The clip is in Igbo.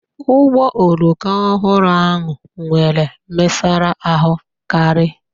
Ụgbọ oloko ọhụrụ ahụ nwere mesara ahụ karị.